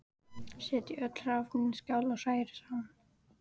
Setjið öll hráefnin í skál og hrærið saman.